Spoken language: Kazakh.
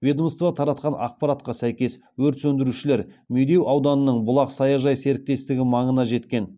ведомство таратқан ақпаратқа сәйкес өрт сөндірушілер медеу ауданының бұлақ саяжай серіктестігі маңына жеткен